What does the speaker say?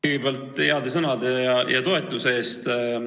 Kõigepealt aitäh heade sõnade ja toetuse eest!